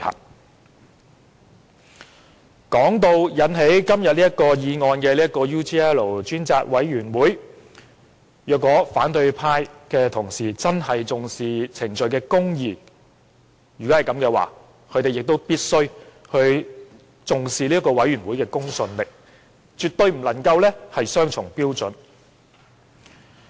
就今天這項議案所涉及的專責委員會而言，如果反對派同事真的重視程序公義，他們亦必須重視專責委員會的公信力，絕不能有雙重標準。